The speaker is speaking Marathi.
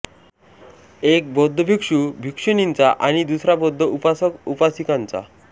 एक बौद्ध भिक्खू भिक्खूनींचा आणि दुसरा बौद्ध उपासक उपासिकांचा